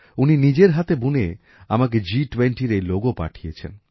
উনি নিজের হাতে বুনে আমাকে জিটুয়েন্টির এই লোগো পাঠিয়েছেন